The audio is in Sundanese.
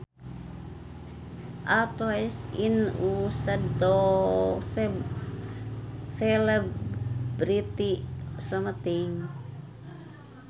A toast is used to celebrate something